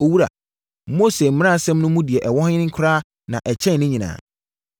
“Owura, Mose mmaransɛm no mu deɛ ɛwɔ he koraa na ɛkyɛn ne nyinaa?”